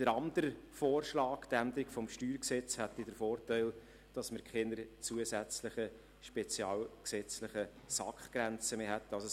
Der andere Vorschlag, die Änderung des StG, hätte den Vorteil, dass wir keine zusätzlichen spezialgesetzlichen SAK-Grenzen mehr hätten.